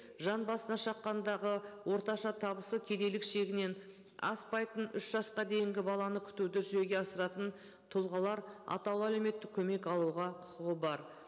жан басына шаққандағы орташа табысы кедейлік шегінен аспайтын үш жасқа дейінгі баланы күтуді жүзеге асыратын тұлғалар атаулы әлеуметтік көмек алуға құқығы бар